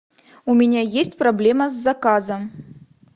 у меня есть проблема с заказом